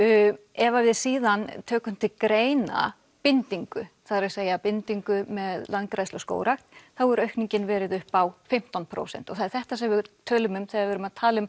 ef við síðan tökum til greina bindingu það er að segja bindingu með landgræðslu og skógrækt þá hefur aukningin verið upp á fimmtán prósent og það er þetta sem við tölum um þegar við erum að tala um